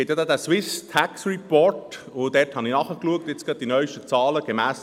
Es gibt den «Swiss Tax Report», und in diesem habe ich gerade die neusten Zahlen nachgeschaut.